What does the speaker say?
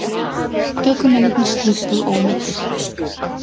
Ökumennirnir sluppu ómeiddir